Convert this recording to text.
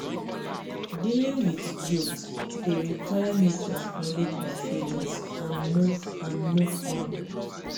dealing with guilt dey require me to acknowledge my feelings and move and move on.